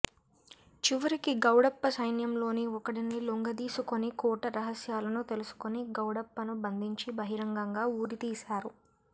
చివరికి గౌడప్ప సైన్యంలోని ఒకడిని లొంగదీసుకోని కోట రహస్యాలను తెలుసుకోని గౌడప్పను బంధించి బహిరంగంగా ఉరితీశారు